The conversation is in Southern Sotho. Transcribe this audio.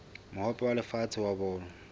mohope wa lefatshe wa bolo